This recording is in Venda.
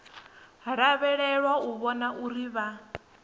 lavhelelwa u vhona uri vha